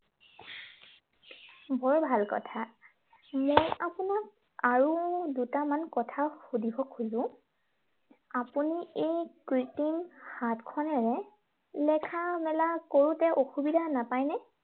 বৰ ভাল কথা। মই আপোনাক আৰু দুটামান কথা সুধিব খোজো। আপুনি এই কৃত্ৰিম হাতখনেৰে লেখা-মেলা কৰোতে অসুবিধা নাপায় নে?